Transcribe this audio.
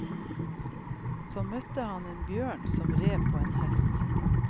Så møtte han en bjørn som red på en hest.